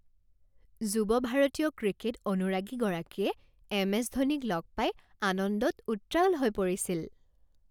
যুৱ ভাৰতীয় ক্ৰিকেট অনুৰাগীগৰাকীয়ে এম.এছ. ধোনীক লগ পাই আনন্দত উত্ৰাৱল হৈ পৰিছিল।